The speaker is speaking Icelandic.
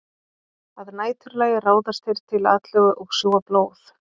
Að næturlagi ráðast þeir til atlögu og sjúga blóð.